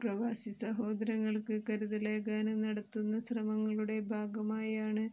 പ്രവാസിസഹോദരങ്ങള്ക്ക് കരുതലേകാന് നടത്തുന്ന ശ്രമങ്ങളുടെ ഭാഗമായാണ്